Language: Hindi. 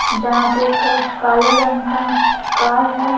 जहाँ पे एक काले रंग का कार है।